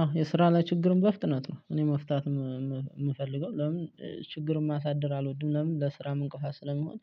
አዎ የስራ ላይ ችግር በፍጥነት ነው እኔ መፍታት የምፈልገው ለምን ችግርን ማሳደር አልወድም ለምን ለስራም እንቅፋት ስለሚሆን።